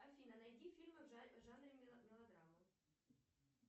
афина найди фильмы в жанре мелодрама